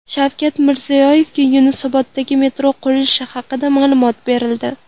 Shavkat Mirziyoyevga Yunusoboddagi metro qurilishi haqida ma’lumot berildi.